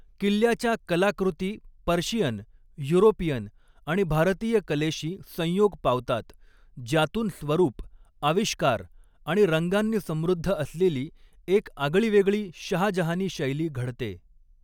किल्ल्याच्या कलाकृती Persian, European आणि भारतीय कलेशी संयोग पावतात, ज्यातून स्वरूप, आविष्कार आणि रंगांनी समृद्ध असलेली एक आगळीवैगळी शहाजहानी शैली घडते.